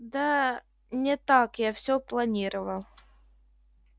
да не так я всё планировал